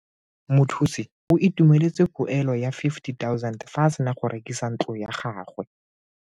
Mothusi o Itumeletse poelo ya 50 000 fa a sena go rekisa ntlo ya gagwe.